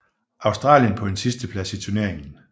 Australien på en sidsteplads i turnering